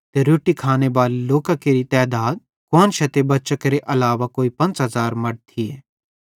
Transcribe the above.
रोट्टी खानेबाले लोकां केरि तैधात कुआन्शां ते बच्चां केरे अलावा कोई 5000 मड़द थिये